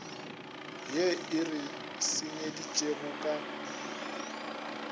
ye e re senyeditšego ka